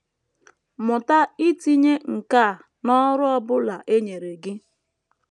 Mụta itinye nkà n’ọrụ ọ bụla e nyere gị.